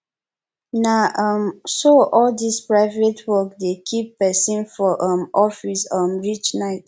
na um so all dis private work dey keep pesin for um office um reach night